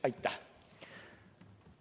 Aitäh!